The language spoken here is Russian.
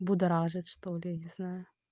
будоражит что-ли не знаю